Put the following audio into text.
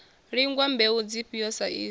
lingwa mbeu dzifhio sa izwo